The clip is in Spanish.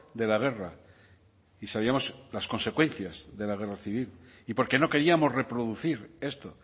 de la guerra y sabíamos las consecuencias de la guerra civil y porque no queríamos reproducir esto